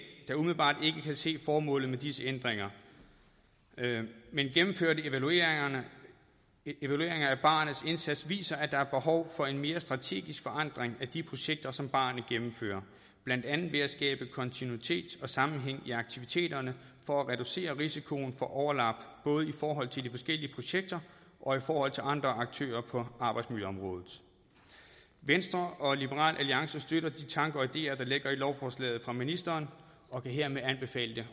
der umiddelbart ikke kan se formålet med disse ændringer men gennemførte evalueringer af barernes indsats viser at der er behov for en mere strategisk forandring af de projekter som barerne gennemfører blandt andet ved at skabe kontinuitet og sammenhæng i aktiviteterne for at reducere risikoen for overlap både i forhold til de forskellige projekter og i forhold til andre aktører på arbejdsmiljøområdet venstre og liberal alliance støtter de tanker og ideer der ligger i lovforslaget fra ministeren og kan hermed anbefale